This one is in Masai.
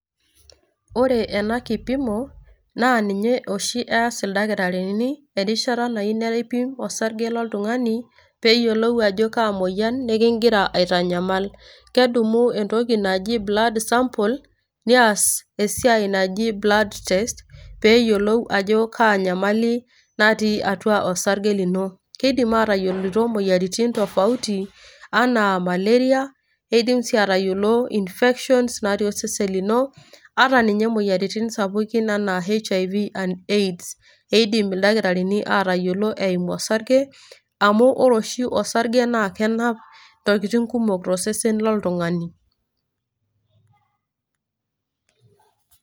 ore ena kipimo naa ninye oshi ees ildakitarini erishata nayieu neripi osarge loltungani pee eyioluni ajo kaa moyian niigira aitanyamal. kedumu entoki naji blood sample we ntoki naji blood test pee eyiolou ajo kaa nyamali natii atua osarge lino. kidim aatayiolo imoyiaritin oltungani, anaa maleria, nidim sii aatayiolo infections natii osesen lino. ata ninye imoyiaritin sapukin, anaa HIV and AIDS amu ore oshi osarge naa kenap intokitin kumok tosesen loltungani.